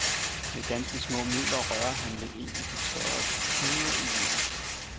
Med ganske små midler rører han ved en af de større knuder i livet.